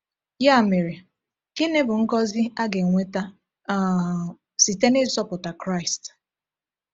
Ya mere, gịnị bụ ngozi a ga-enweta um site n’ịzọpụta Kraịst?